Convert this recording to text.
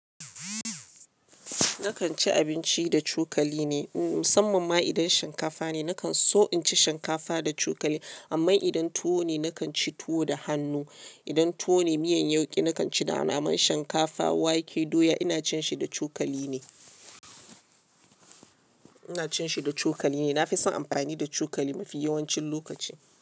Nakan ci abinci da cokali ne. Musamman ma idan shinkafa ne, nakan so in ci shinkafa da cokali. Amma idan tuwo ne, nakan ci tuwo da hannu. Idan tuwo ne, miyan yauƙi nakan ci da naman shinkafa, wake, doya ina cin shi da cokali ne. Ina cin shi da cokali ne. Na fi son amfani da cokali mafi yawancin lokaci.